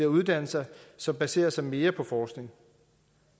uddannelser som baserer sig mere på forskning